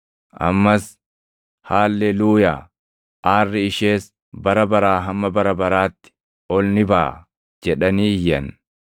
Ammas, “Haalleluuyaa! Aarri ishees bara baraa hamma bara baraatti ol ni baʼa” jedhanii iyyan.